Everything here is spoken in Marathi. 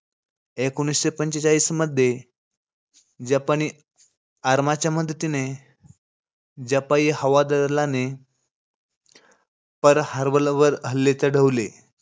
एकोणीशे पंचेचाळीस मध्ये, जपानी आरमाच्या मदतीने जपानी हवादलाने पर्ल हार्बलवर हल्ले चढवले.